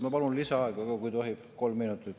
Ma palun lisaaega, kui tohib, kolm minutit.